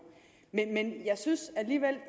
men jeg synes alligevel